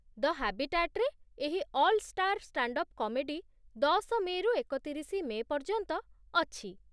ଦ ହାବିଟାଟ୍‌ରେ ଏହି 'All Star Stand up Comedy' ଦଶ ମେ'ରୁ ଏକତିରିଶି ମେ' ପର୍ଯ୍ୟନ୍ତ ଅଛି।